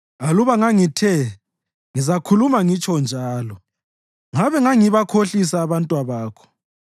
Aluba ngangithe, “Ngizakhuluma ngitsho njalo,” ngabe ngangibakhohlisa abantwabakho.